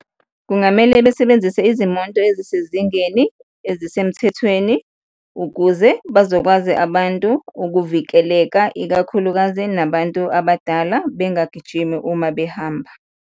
Kungamele besebenzise izimonto ezisezingeni, ezisemthethweni ukuze bazokwazi abantu ukuvikeleka, ikakhulukazi nabantu abadala, bengagijimi uma behamba.